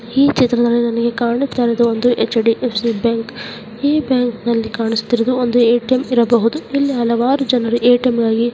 ಈ ಚಿತ್ರದಲ್ಲಿ ನಮಗೆ ಕಾಣಿಸ್ತಾ ಇರುವುದು ಅಂದ್ರೆ ಎಚ್_ಡಿ_ಏಫ್_ಸಿ ಬ್ಯಾಂಕ್ ಈ ಬ್ಯಾಂಕ್ನಲ್ಲಿ ನಮಗೆ ಕಾಣಿಸ್ತಿರುವುದು ಒಂದು ಎ_ಟಿ_ಎಂ ಇರಬಹುದು ಹಲವಾರು ಜನರು ಎ ಟಿ ಎಂ ಗಾಗಿ--